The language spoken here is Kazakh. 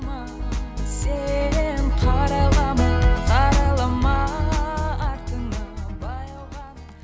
сен қарайлама қарайлама артыңа баяу ғана